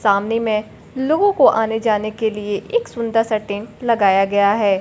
सामने में लोगों को आने जाने के लिए एक सुंदर सा टेंट लगाया गया है।